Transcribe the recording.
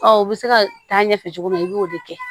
u bɛ se ka taa ɲɛfɛ cogo min na i b'o de kɛ